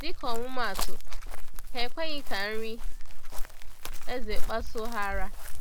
“Dịka ọmụmaatụ, ha ekweghị ka nri eze kpasuo ha ara.”